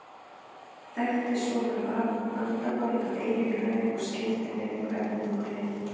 Þekkti svona vandamál af eigin raun og skildi vel hvernig okkur leið.